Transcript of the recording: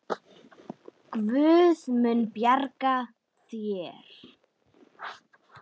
Guð mun bjarga þér.